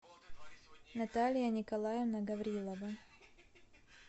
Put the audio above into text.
наталья николаевна гаврилова